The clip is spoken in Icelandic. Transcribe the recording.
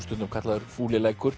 stundum kallaður